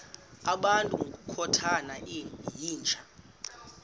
ngabantu ngokukhothana yinja